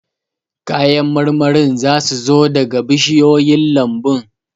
Kayan marmarin za su zo daga bishiyoyin lambun